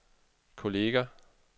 kolleger